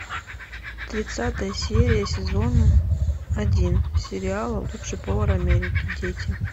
тридцатая серия сезона один сериала лучший повар америки дети